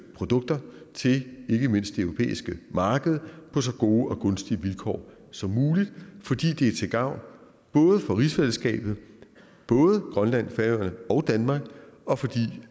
produkter til ikke mindst det europæiske marked på så gode og gunstige vilkår som muligt fordi det er til gavn for rigsfællesskabet både grønland færøerne og danmark og fordi det